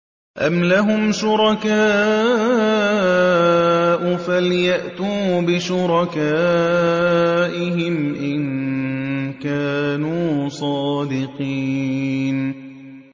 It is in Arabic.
أَمْ لَهُمْ شُرَكَاءُ فَلْيَأْتُوا بِشُرَكَائِهِمْ إِن كَانُوا صَادِقِينَ